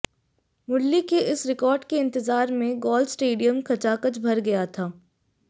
मुरली के इस रिकार्ड के इंतजार में गॉल स्टेडियम खचाखच भर गया था